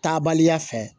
Taabaliya fɛ